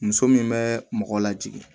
Muso min bɛ mɔgɔ lajigin